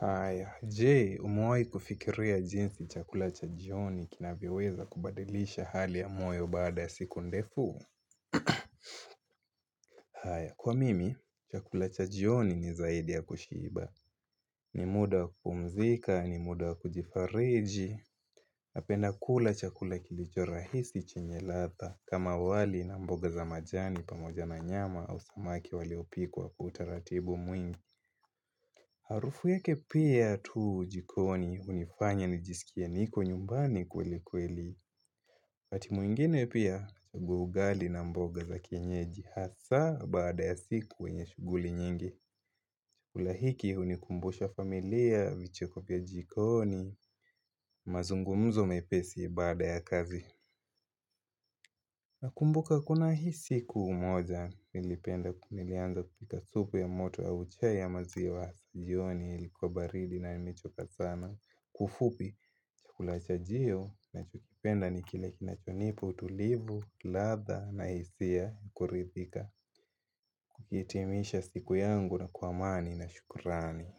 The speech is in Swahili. Haya, je, umewai kufikiria jinsi chakula cha jioni kinavyoweza kubadilisha hali ya moyo baada siku ndefu? Haya, kwa mimi, chakula cha jioni ni zaidi ya kushiba. Ni muda wa kupumzika, ni muda wa kujifariji, napenda kula chakula kilicho rahisi chenye ladha, kama wali na mboga za majani pamoja na nyama au samaki waliopikwa kwa kutaratibu mwingi. Harufu yake pia tuu jikoni hunifanya nijiskie niko nyumbani kweli kweli. Wakati mwingine pia nachagua ugali na mboga za kienyeji hasa baada ya siku wenye shuguli nyingi. Chakula hiki hunikumbusha familia vicheko vya jikoni mazungumzo mepesi baada ya kazi. Nakumbuka kuna hii siku moja nilipenda nilianza kupika supu ya moto au chai ya maziwa. Jioni likuwa baridi na nimechoka sana. Kwa ufupi chakula chajio nachokipenda ni kile kinachonipa, utulivu, ladha na hisia kuridhika. Kuhitimisha siku yangu na kwa amani na shukurani.